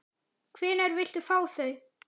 Hvenær viltu fá þau?